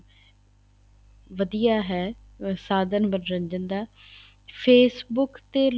ਵਧੀਆ ਹੈ ਸਾਧਨ ਮੰਨੋਰੰਜਨ ਦਾ Facebook ਤੇ